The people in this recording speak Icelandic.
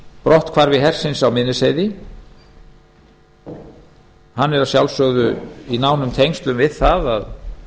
brotthvarfi hersins á miðnesheiði hann er að sjálfsögðu í nánum tengslum við það að